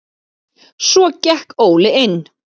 Svo gekk Óli inn.